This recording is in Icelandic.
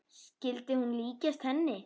Skyldi hún líkjast henni?